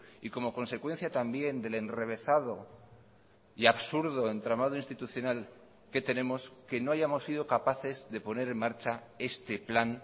y como consecuencia también del enrevesado y absurdo entramado institucional que tenemos que no hayamos sido capaces de poner en marcha este plan